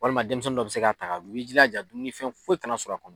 Walima denmisɛnnin dɔ be se k'a ta dun i b'i jilaja dumuninfɛn foyi kana sɔrɔ a kɔnɔ